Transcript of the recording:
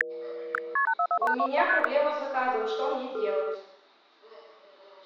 у меня проблема с заказом что мне делать